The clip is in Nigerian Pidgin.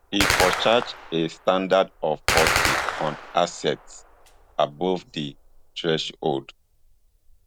e for charge a standard of forty on assets above di threshold